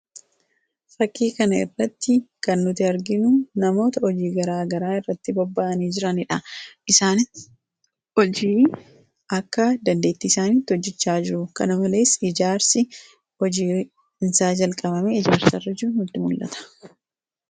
fakkii kan irratti kan nuti arginu namoota hojii garaa garaa irratti bobba'anii jiraniidha .isaani hojii akka dandeettii isaaniitti hojjichaa jiru .kana malees ijaarsi hojii isaa jalqabame ijaarsa irra jiru nutti mul'ata.